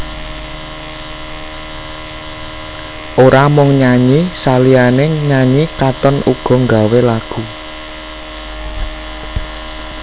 Ora mung nyanyi saliyané nyanyi Katon uga nggawé lagu